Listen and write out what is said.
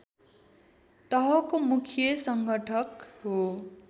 तहको मुख्य सङ्घटक हो